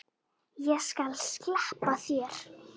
Og ég skal sleppa þér!